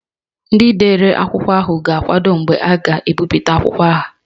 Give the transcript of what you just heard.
Ndị dere akwụkwọ ahụ ga-akwado mgbe a ga-ebipụta akwụkwọ ha